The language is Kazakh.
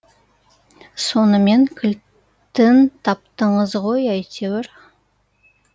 сонымен кілтін таптыңыз ғой әйтеуір